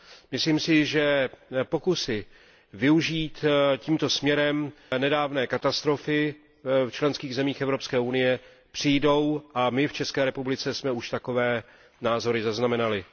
Myslím si, že pokusy využít tímto směrem nedávné katastrofy v členských zemích Evropské unie přijdou, a my v České republice jsme už takové názory zaznamenali.